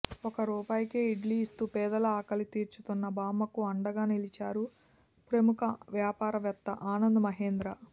ఒక రూపాయికే ఇడ్లీ ఇస్తూ పేదల ఆకలి తీర్చుతున్న బామ్మకు అండగా నిలిచారు ప్రముఖ వ్యాపారవేత్త ఆనంద్ మహీంద్రా